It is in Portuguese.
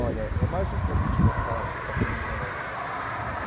Olha, é mais um convite que eu faço para quem não conhece.